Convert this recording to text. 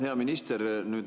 Hea minister!